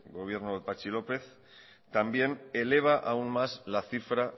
gobierno de patxi lópez también eleva aún más la cifra